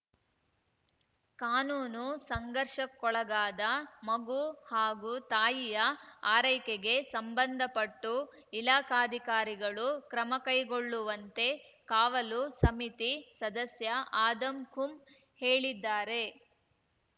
ಕಾನೂನು ಸಂಘರ್ಷಕ್ಕೊಳಗಾದ ಮಗು ಹಾಗೂ ತಾಯಿಯ ಆರೈಕೆಗೆ ಸಂಬಂದಪಟ್ಟು ಇಲಾಖಾಧಿಕಾರಿಗಳು ಕ್ರಮ ಕೈಗೊಳ್ಳುವಂತೆ ಕಾವಲು ಸಮಿತಿ ಸದಸ್ಯ ಆದಂ ಕುಂ ಹೇಳಿದ್ದಾರೆ